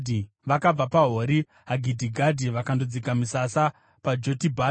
Vakabva paHori Hagidhigadhi vakandodzika misasa paJotibhata.